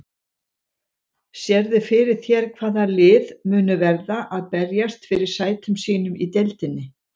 Sérðu fyrir þér hvaða lið munu verða að berjast fyrir sætum sínum í deildinni?